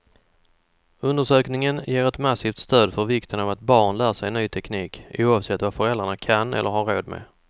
Undersökningen ger ett massivt stöd för vikten av att barn lär sig ny teknik, oavsett vad föräldrarna kan eller har råd med.